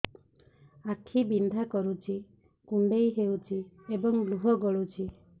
ଆଖି ବିନ୍ଧା କରୁଛି କୁଣ୍ଡେଇ ହେଉଛି ଏବଂ ଲୁହ ଗଳୁଛି